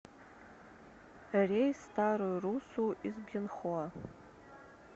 рейс в старую руссу из бьенхоа